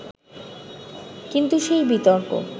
কিন্তু সেই বিতর্ক